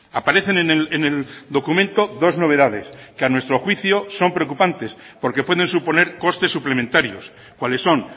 aparecen en el documento dos novedades que a nuestro juicio son preocupantes porque pueden suponer costes suplementarios cuáles son